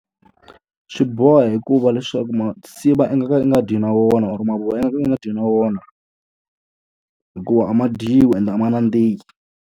Swi boha hikuva leswaku tinsiva i nga ka u nga dyi na wona or mavoya i nga ka i nga dyi na wona. Hikuva a ma dyiwi ende a ma nandziki.